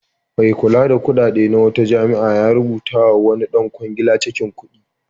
Mai kula da kuɗaɗe na wata jami'a ya rubutawa wani ɗan kwangila cakin kuɗi.